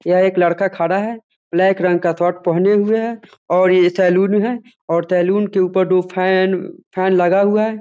यह एक लड़का खड़ा है। ब्लैक रंग का शर्ट पहने हुए है और ये सैलून है और सैलून के ऊपर दो फैन फैन लगा हुआ है।